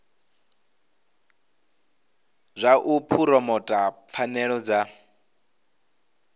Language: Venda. zwa u phuromotha pfanelo dza